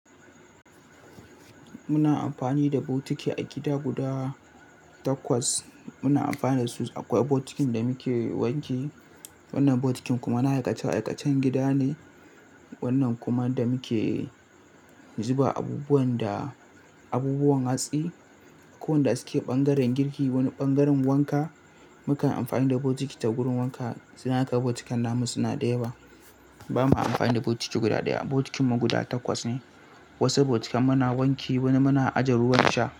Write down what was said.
Muna amfani da bokiti a gida guda takwas. Muna amfani da su. Akwai bokitin da muke wanke, wannan bokitin kuma na aikace-aikacen gida ne. Wannan kuma da muke zuba abubuwan da abubuwan hatsi. Ko wanda suke ɓangaren girki wani ɓangaren wanka. Mukan amfani da bokiti ta wurin wanka. Suna haka bokitan namun suna da yawa. Ba mu amfani da bokiti guda daya ba, bokitinmu guda takwas ne. Wasu bokitan muna wanke wani muna aje ruwan sha.